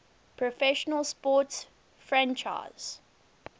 professional sports franchise